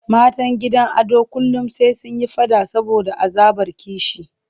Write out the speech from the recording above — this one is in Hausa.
Matan gidan Ado kullum sai sun yi faɗa saboda azabar kishi.